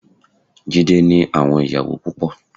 Jídé ní àwọn ìyàwó púpọ.